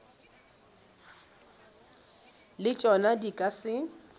le tšona di ka se